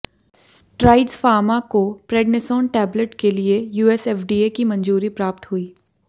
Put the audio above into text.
strides Pharma को prednisone tablet के लिए यूएसएफडीए की मंजूरी प्राप्त हुई